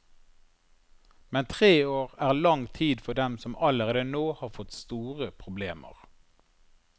Men tre år er lang tid for dem som allerede nå har fått store problemer.